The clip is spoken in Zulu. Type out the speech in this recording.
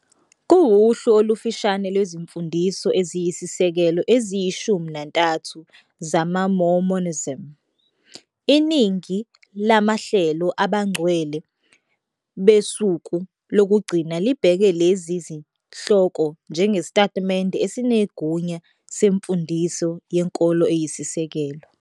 Kuwuhlu olufushane lwezimfundiso eziyisisekelo eziyishumi nantathu zamaMormonism. Iningi lamahlelo abaNgcwele beSuku Lokugcina libheka lezi zihloko njengesitatimende esinegunya semfundiso yenkolo eyisisekelo.